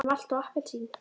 En malt og appelsín?